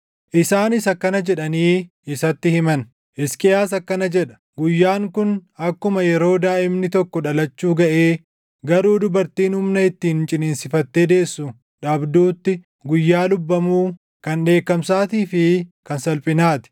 Isaanis akkana jedhanii isatti himan; “Hisqiyaas akkana jedha: Guyyaan kun akkuma yeroo daaʼimni tokko dhalachuu gaʼee garuu dubartiin humna ittiin ciniinsifattee deessu dhabduutti guyyaa lubbamuu, kan dheekkamsaatii fi kan salphinaa ti.